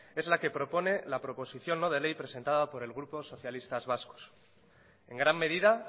es la que propone la proposición no de ley presentada por el grupo socialistas vascos en gran medida